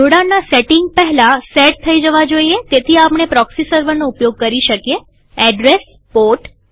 જોડાણના સેટિંગ પહેલા સેટ થઇ જવા જોઈએતેથી આપણે પ્રોક્સી સર્વરનો ઉપયોગ કરી શકીએએડ્રેસપોર્ટ